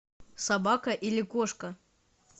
собака или кошка